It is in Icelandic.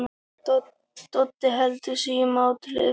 Doddi heldur sig í mátulegri fjarlægð.